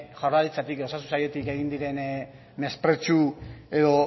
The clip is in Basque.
jaurlaritzatik edo osasun sailetik egin diren mespretxu